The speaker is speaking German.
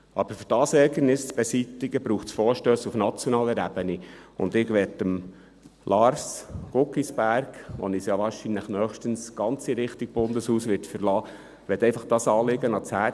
Aber um dieses Ärgernis zu beseitigen, braucht es Vorstösse auf nationaler Ebene, und ich möchte Lars Guggisberg, der uns ja wahrscheinlich nächstens ganz in Richtung Bundeshaus verlassen wird, einfach ein Anliegen ans Herz legen: